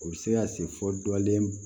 U bɛ se ka se fɔ dɔlen